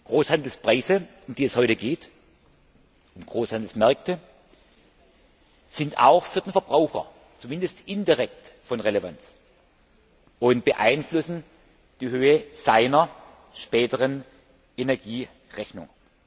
Großhandelspreise, um die es heute geht, und Großhandelsmärkte sind auch für den Verbraucher zumindest indirekt von Relevanz und beeinflussen die Höhe seiner späteren Energierechnung.